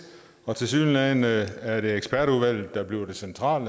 og tilsyneladende er det ekspertudvalget der bliver det centrale